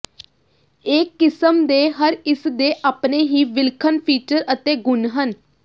ਇਹ ਕਿਸਮ ਦੇ ਹਰ ਇਸ ਦੇ ਆਪਣੇ ਹੀ ਵਿਲੱਖਣ ਫੀਚਰ ਅਤੇ ਗੁਣ ਹਨ